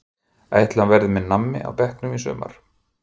Ætli hann verði með nammi á bekknum í sumar?